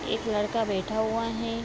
एक लड़का बैठा हुआ है।